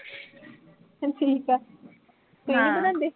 ਚਲ ਠੀਕ ਆ। ਤੂੰ ਨੀਂ ਬਣਾਉਂਦੀ?